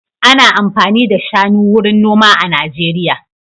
Ana amfani da shanu wurin noma a Najeriya.